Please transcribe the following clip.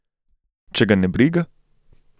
Če ga ne briga?